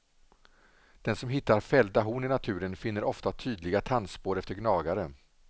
Den som hittar fällda horn i naturen finner ofta tydliga tandspår efter gnagare.